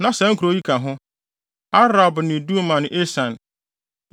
Na saa nkurow yi ka ho: Arab ne Duma ne Esan,